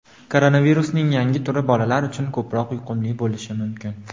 Koronavirusning yangi turi bolalar uchun ko‘proq yuqumli bo‘lishi mumkin.